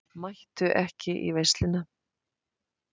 Mættu ekki í veisluna